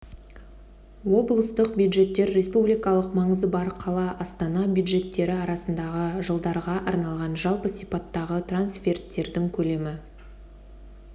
облыстық бюджеттер республикалық маңызы бар қала астана бюджеттері арасындағы жылдарға арналған жалпы сипаттағы трансферттердің көлемі